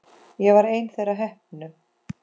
Ég var ein þeirra heppnu.